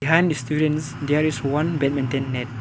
behind the students there is one badminton net.